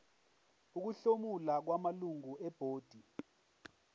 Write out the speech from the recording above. ukuhlomula kwamalungu ebhodi